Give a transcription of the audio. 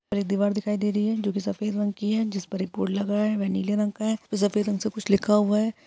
और एक दीवार दिखाई दे रही है जो की सफ़ेद रंग की है जिस पर एक बोर्ड लगा है वह नीले रंग का है और सफ़ेद रंग से कुछ लिखा हुआ है।